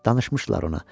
Danışmışdılar ona.